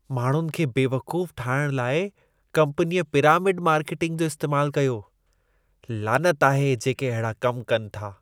माण्हुनि खे बेवक़ूफ़ ठाहिण लाइ कंपनीअ पिरामिड मार्केटिंग जो इस्तेमालु कयो। लानत आहे जेके अहिड़ा कम था कनि।